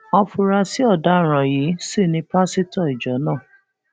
áfúrásì ọdaràn yìí sì ni pásítọ ìjọ náà